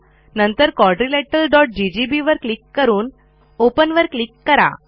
नंतर quadrilateralजीजीबी वर क्लिक करून ओपन वर क्लिक करा